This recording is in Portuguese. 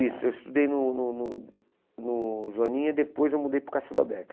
Isso, eu estudei no no no no Joaninha e depois eu mudei para o Cássio